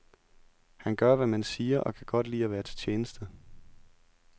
Han gør, hvad man siger og kan godt lide at være til tjeneste.